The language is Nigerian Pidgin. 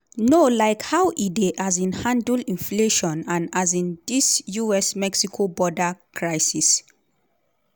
no like how e dey um handle inflation and um di us-mexico border crisis.